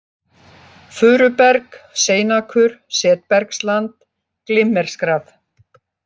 Furuberg, Seinakur, Setbergsland, Glimmerskrað